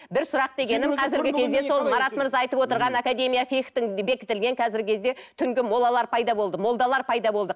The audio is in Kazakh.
бір сұрақ дегенім қазіргі кезде сол марат мырза айтып отырған академия фих тің бекітілген қазіргі кезде түнгі молалар пайда болды молдалар пайда болды